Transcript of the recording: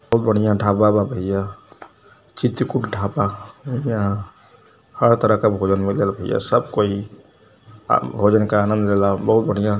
हुत बढ़ियां ढाबा बा भईया। चितकुट ढाबा। यहाँ हर तरह का भोजन मिलेला भईया। सब कोई भोजन क आनंद लेला। बहुत बढ़िया --